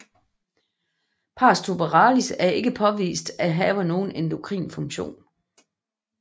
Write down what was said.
Pars tuberalis er ikke påvist at have nogen endokrin funktion